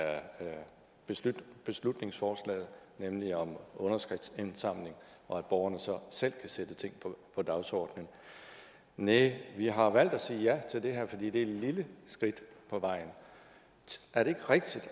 beslutningsforslaget nemlig om underskriftindsamling og at borgerne så selv kan sætte ting på dagsordenen næh vi har valgt at sige ja til det her fordi det er et lille skridt på vejen er det ikke rigtigt